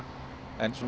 en